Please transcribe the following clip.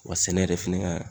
Wa sɛnɛ yɛrɛ fɛnɛ ga